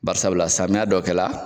Barisabula samiya dɔ kɛ la.